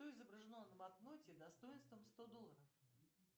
что изображено на банкноте достоинством сто долларов